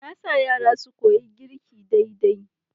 Na sa yara su koyi girki daidai.